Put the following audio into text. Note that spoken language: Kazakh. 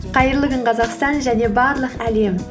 қайырлы күн қазақстан және барлық әлем